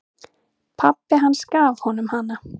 Pabbi hans gaf honum hana.